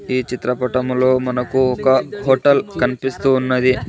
ఈ చిత్రపటంలో మనకు ఒక హోటల్ కనిపిస్తూ ఉన్నది.